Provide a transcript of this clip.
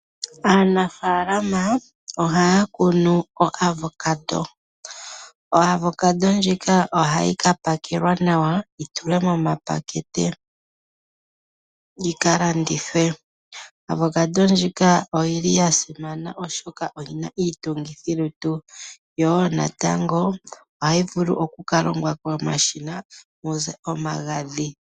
Aanafalama ohaya kunu Avocado, ndjoka hayi kapela nawa yi tulwe miipakete yi kalandithwe. Oya simana oshoka oyina iitungithilutu nohayi vulu oku kalongwa komashina muze omagadhi.